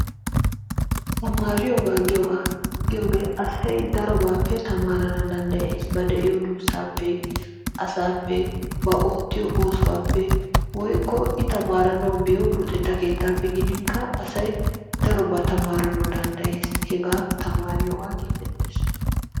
tamaariyoogaa giyoogaa, asay darobaappe tamaarana danddayees. ba de'iyo duusaappe, asaappe, ba oottiyo oosuwappe, woykko i tamaaranawu biyo luxxetta keetaappe gidinkka asay darobaa tamaarana danddayees, hegaa tamaariyogan giigetees.